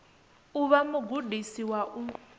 u vha mugudisi wa u